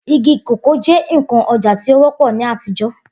Igi kòkó jẹ́ ǹkan ọjà tí ó wọ́pọ̀ ní àtijọ́